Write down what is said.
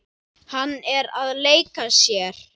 Hann er að leika sér.